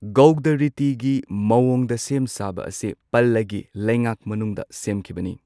ꯒꯧꯗ ꯔꯤꯇꯤꯒꯤ ꯃꯑꯣꯡꯗ ꯁꯦꯝ ꯁꯥꯕ ꯑꯁꯤ ꯄꯂꯒꯤ ꯂꯩꯉꯥꯛ ꯃꯅꯨꯡꯗ ꯁꯦꯝꯈꯤꯕꯅꯤ꯫